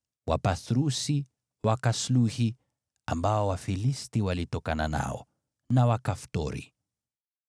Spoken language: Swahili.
Wapathrusi, Wakasluhi (hao ndio asili ya Wafilisti), na Wakaftori.